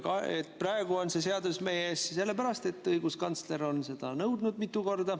Ka praegu on see seadus meie ees sellepärast, et õiguskantsler on seda mitu korda nõudnud.